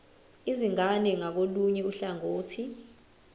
izingane ngakolunye uhlangothi